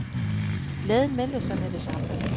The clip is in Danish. Glæden meldte sig med det samme.